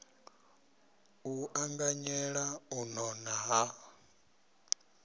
u anganyela u nona ha